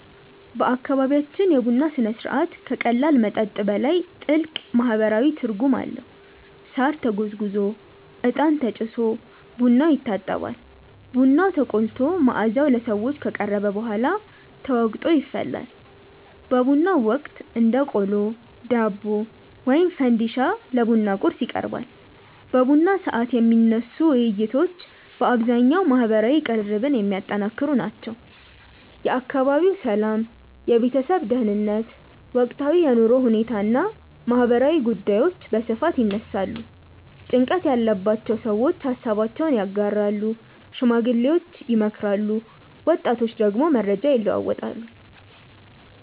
በአካባቢያችን የቡና ሥነ ሥርዓት ከቀላል መጠጥ በላይ ጥልቅ ማህበራዊ ትርጉም አለው። ሳር ተጎዝጉዞ፣ እጣን ተጭሶ ቡናው ይታጠባል። ቡናው ተቆልቶ መዓዛው ለሰዎች ከቀረበ በኋላ ተወቅጦ ይፈላል። በቡናው ወቅት እንደ ቆሎ፣ ዳቦ ወይም ፈንዲሻ ለቡና ቁርስ ይቀርባል። በቡና ሰዓት የሚነሱ ውይይቶች በአብዛኛው ማህበራዊ ቅርርብን የሚያጠነክሩ ናቸው። የአካባቢው ሰላም፣ የቤተሰብ ደህንነት፣ ወቅታዊ የኑሮ ሁኔታ እና ማህበራዊ ጉዳዮች በስፋት ይነሳሉ። ጭንቀት ያለባቸው ሰዎች ሃሳባቸውን ያጋራሉ፣ ሽማግሌዎች ይመክራሉ፣ ወጣቶች ደግሞ መረጃ ይለዋወጣሉ።